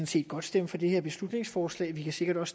set godt stemme for det her beslutningsforslag og vi kan sikkert